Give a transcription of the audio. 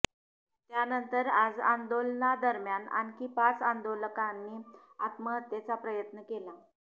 त्यानंतर आज आंदोलना दरम्यान आणखी पाच आंदोलकांनी आत्महत्येचा प्रयत्न केला